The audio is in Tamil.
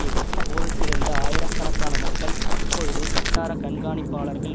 எதிர்த்து போரிட்டிருந்த ஆயிரக்கணக்கான மக்கள் இப்பொழுது வட்டார கண்காணிப்பாளர்கள்